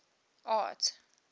art